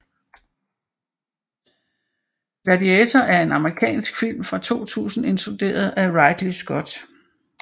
Gladiator er en amerikansk film fra 2000 instrueret af Ridley Scott